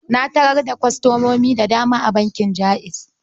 Na tarar da kwastomomin da dama a bankin Jaiz.